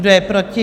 Kdo je proti?